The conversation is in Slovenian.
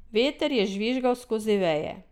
Veter je žvižgal skozi veje.